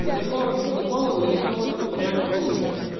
вот такого пиздабола нарисовывается вариант получше